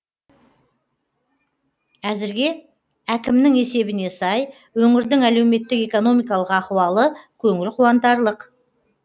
әзірге әкімнің есебіне сай өңірдің әлеуметтік экономикалық ахуалы көңіл қуантарлық